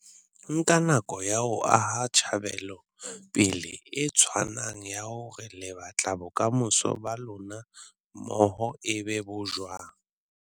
Nkang nako ya ho aha tjhebelopele e tshwanang ya hore le batla bokamoso ba lona mmoho e be bo jwang.